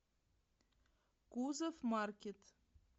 кузов маркет